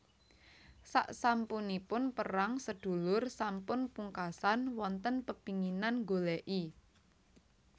Saksampunipun perang sedulur sampun pungkasan wonten pepinginan nggoleki